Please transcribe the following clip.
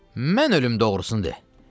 Mən ölüm, doğrusunu de.